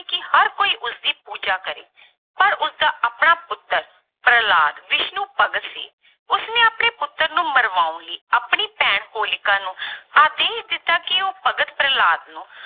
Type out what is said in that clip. ਕਿ ਹਰ ਕੋਈ ਉਸਦੀ ਪੂਜਾ ਕਰੇ ਪਰ ਉਸਦਾ ਆਪਣਾ ਪੁੱਤਰ ਪ੍ਰਹਿਲਾਦ ਵਿਸ਼ਨੂੰ ਭਗਤ ਸੀ, ਉਸਨੇ ਆਪਣੇ ਪੁੱਤਰ ਨੂੰ ਮਰਵਾਉਣ ਲਈ ਆਪਣੀ ਭੈਣ ਹੋਲਿਕਾ ਨੂੰ ਆਦੇਸ਼ ਦਿੱਤਾ ਕਿ ਉਹ ਭਗਤ ਪ੍ਰਹਿਲਾਦ ਨੂੰ